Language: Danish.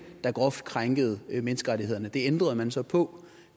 der groft krænkede menneskerettighederne det ændrede man så på